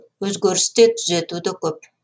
өзгеріс те түзету де көп